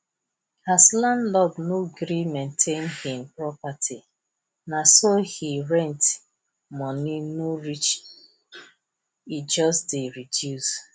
as landlord no gree maintain hin property na so he rent money no reach e just dey reduce